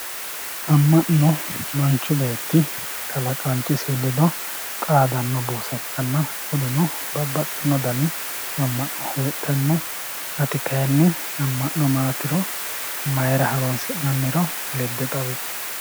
Ama'no manchu beetti kalaqanchisi ledo xaadanno buussa ikkanna kunino babaxino dani ama'na heedhano ati kayini ama'na maatiro mayira horonsinanniro lede xawissi